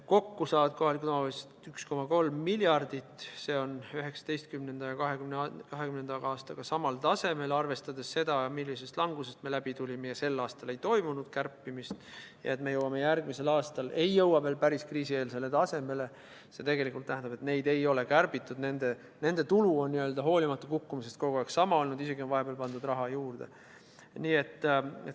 Kokku saavad kohalikud omavalitsused 1,3 miljardit, see on 2019. ja 2020. aastaga samal tasemel – arvestades seda, millisest langusest me läbi tulime ja sel aastal ei toimunud kärpimist ning me järgmisel aastal ei jõua veel päris kriisieelsele tasemele –, mis tegelikult tähendab, et nende raha ei ole kärbitud, nende tulu on hoolimata kukkumisest kogu aeg sama olnud, vahepeal on isegi raha juurde pandud.